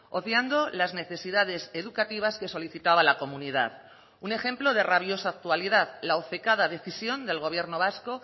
obviando las necesidades educativas que solicitaba la comunidad un ejemplo de rabiosa actualidad la obcecada decisión del gobierno vasco